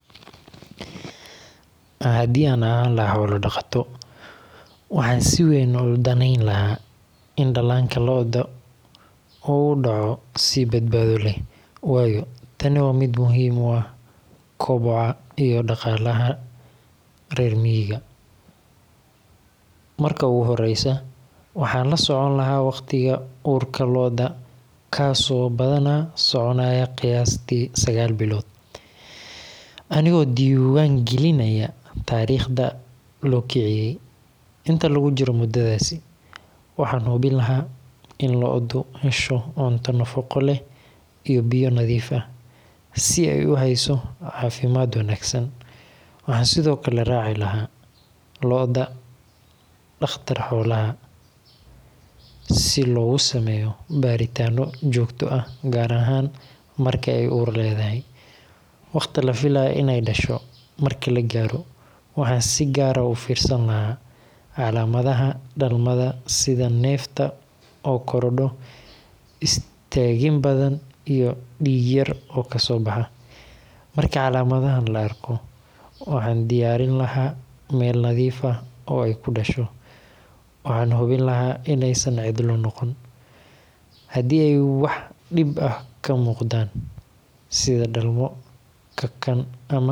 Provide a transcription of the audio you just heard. Hadii an ahan laha xoola dhaqato waxan si weyn udaneyn laha in dhalaanka lo'da uu udhoco si badbaado leh wayo tani waa mid muhiim u ah koboca iyo dhaqalaha rer miyiga, marka u horeysa waxan la soconi lahaa waqtiga uurka lo'da kaaso badana soconaya qayasti sagal bilod, anigo diiwan gelinaya tariqda loo kiciye, intaa lugu jiro mudadaasi waxan hubin lahaa in lo'da hesho cunto nafaqo leh iyo biya nadiif ah si ay uhesho caafimad wanaagsan, waxan sidokale raaci laha lo'da dhaqtar xoolaha si logu sameeyo baritana jogto ah gaar ahan marka ay uur ledahay ,waqti lafilay inay dhasho marki lagaaro waxan si gaar ah ufirsan lahaa calaamadaha dhalmada sida nefta oo korordho, istagin fara badan iyo dhig yar oo kaso baxa, marka calaamadahan la arko waxan diyaarin lahaa Mel nadiif ah oo ay kudhasho, waxan hubin laha inay San cidla noqonin, hadii ay wax dhib ah kamuqdan sida dhalmo kakan ama xanuun